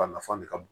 A nafa de ka bon